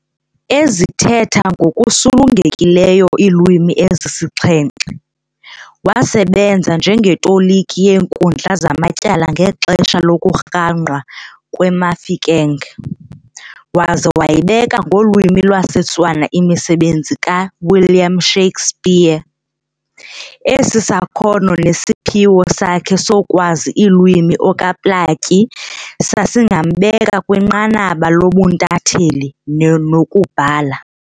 Ezithetha ngokusulungekileyo iilwimi ezisixhenxe, waasebenza njengetoliki yeenkundla zamatyala ngexesha lokurhangqwa kweMafeking, waza wayibeka ngolwimi lwesiTswana imisebenzi kaWilliam Shakespeare. Esi sakhona nesiphiwo sakhe sokwazi iilwimi okaPlaatji sasingambeka kwinqanaba lobuntatheli nokubhala.